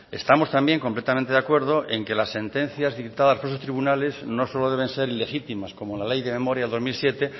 estamos también completamente de acuerdo en que las sentencias dictadas por esos tribunales no solo deben ser ilegítimas como la ley de memoria dos mil siete